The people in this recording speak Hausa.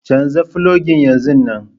Canza fologin yanzun nan.